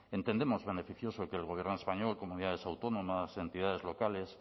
entendemos beneficioso que el gobierno español comunidades autónomas entidades locales